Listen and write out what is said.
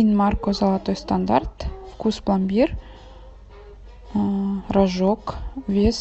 инмарко золотой стандарт вкус пломбир рожок вес